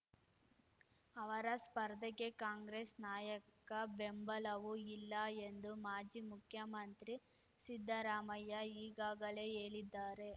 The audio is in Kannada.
ಅವರ ಸ್ಪರ್ಧೆಗೆ ಕಾಂಗ್ರೆಸ್ ನಾಯಕ ಬೆಂಬಲವೂ ಇಲ್ಲ ಎಂದು ಮಾಜಿ ಮುಖ್ಯಮಂತ್ರಿ ಸಿದ್ಧರಾಮಯ್ಯ ಈಗಾಗಲೇ ಹೇಳಿದ್ದಾರೆ